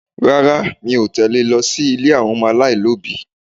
Rárá, mi ò tẹle lọ sí ilé àwọn alailobi.